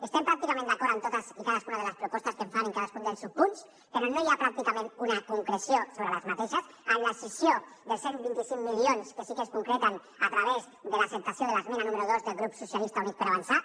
estem pràcticament d’acord amb totes i cadascuna de les propostes que es fan en cadascun dels subpunts però no hi ha pràcticament una concreció sobre les mateixes propostes en la cessió dels cent i vint cinc milions que sí que es concreten a través de l’acceptació de l’esmena número dos del grup socialistes i units per avançar